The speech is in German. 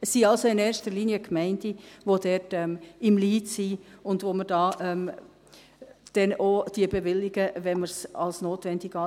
Es sind also in erster Linie die Gemeinden, die im Lead sind, und denen wir sie dann auch bewilligen, wenn wir es als notwendig erachten.